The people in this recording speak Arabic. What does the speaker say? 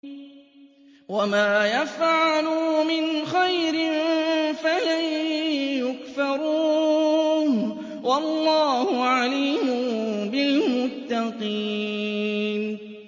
وَمَا يَفْعَلُوا مِنْ خَيْرٍ فَلَن يُكْفَرُوهُ ۗ وَاللَّهُ عَلِيمٌ بِالْمُتَّقِينَ